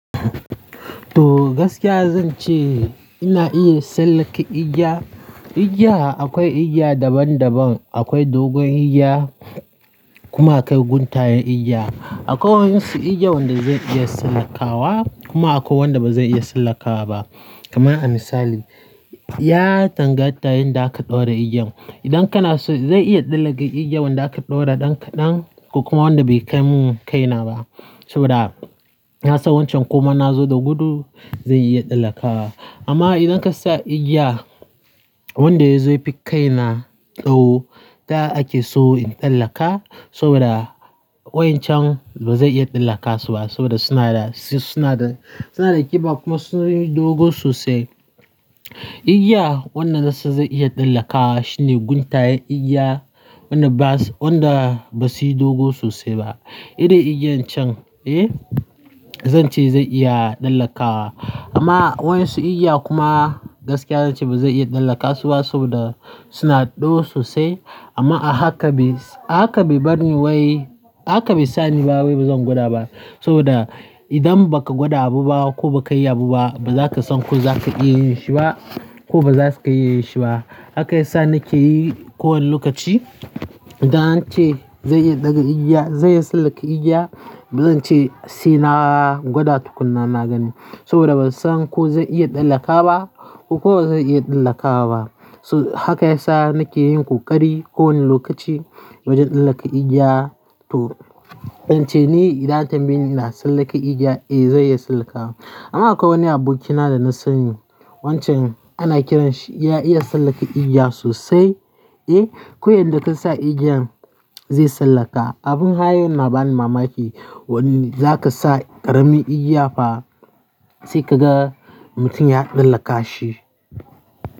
To, gaskiya zan ce ina iya sallaka igiya. Igiya akwai igiya daban-daban, akwai dogon igiya kuma akwai guntayen igiya. Akwai waɗansu igiya wanda zai iya sallakawa kuma akwai wanda ba zai iya sallakawa ba. Kaman a misali, ya tangata yin da aka ɗora igiyan. Idan kana so zai iya tsallaka igiyan da aka ɗora ɗan kaɗan ko kuma wanda bai kai mun kaina ba saboda ya sa wancan kuma na zo da gudu zai iya tsallakawa. Amma idan ka sa igiya wanda yazo fi kaina tou, ta ake so in tsallaka saboda wa'incan ba zai iya tsallaka suba saboda suna da, suna da, suna da ƙiba kuma suna da dogo sosai. Igiya wannan nasan zai iya tsallakawa shine guntayen igiya wanda bas, wanda ba su yi dogo sosai ba. Iren igiyan can, eh, zan ce zai iya tsallakawa. Amma wa'yansu igiya kuma gaskiya zan ce ba zai iya tsallakasu ba saboda suna da tsawo sosai. Amma a haka bai, a haka bai bar ni wai, haka bai sa ni ba wai ba zan gwada ba saboda idan ba ka gwada abu ba ko ba ka yi abu ba, ba za ka san ko za ka iya yin shi ba ko ba za ka iya yin shi ba. Haka ya sa nake yi kowani lokaci. Idan an ce zan iya ɗaga igiya, zan iya tsallaka igiya, ba zan ce sai na gwada tukunna na gani saboda ban san ko zai iya tsallaka ba ko ba zan iya tsallakawa ba. Toh haka yasa nake yin kokari kowani lokaci wajen tsallaka igiya to, zan ce ni idan tambaye ni ina tsallaka igiya, eh zan iya tsallakawa. Amma akwai wani abokina da na sani wancan ana kiranshi ya iya tsallaka igiya sosai, eh, ko yadda ka sa igiyan zai tsallaka. Abun har yau na bani mamaki. Wani-- za ka sa ƙaramin igiya fa sai ka ga mutum ya tsallaka shi.